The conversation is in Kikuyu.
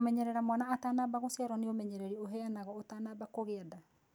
Kũmenyerera mwana atanamba gũciarwo nĩ umenyereri ũheanagwo ũtanamba kũgia nda.